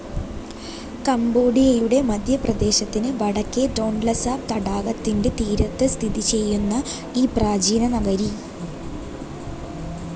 കംബോഡിയയുടെ മധ്യപ്രദേശത്തിന് വടക്കേ ടോൺലെസാപ് തടാകത്തിന്റെ തീരത്ത് സ്ഥിതിചെയ്യുന്ന ഈ പ്രാചീനനഗരി എ.